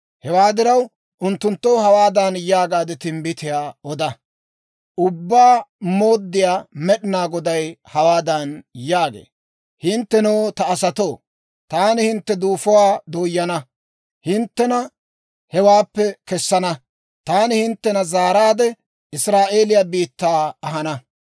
Hewaa diraw, unttunttoo hawaadan yaagaade timbbitiyaa oda; ‹Ubbaa Mooddiyaa Med'inaa Goday hawaadan yaagee; «Hinttenoo, ta asatoo, taani hintte duufuwaa dooyana; hinttena hewaappe kessana; taani hinttena zaaraadde, Israa'eeliyaa biittaa ahana.